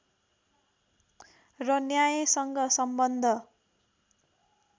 र न्यायसँग सम्बन्ध